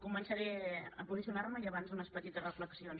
començaré a posicionar me i abans unes petites reflexions